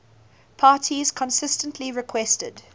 parties consistently requested